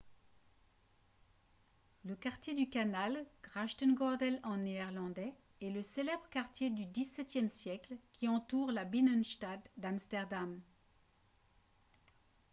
le quartier du canal grachtengordel en néerlandais est le célèbre quartier du xviie siècle qui entoure la binnenstad d'amsterdam